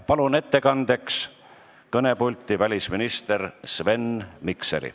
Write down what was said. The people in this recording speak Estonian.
Palun ettekandeks kõnepulti välisminister Sven Mikseri.